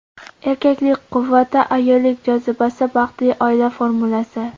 Erkaklik quvvati, ayollik jozibasi – baxtli oila formulasi!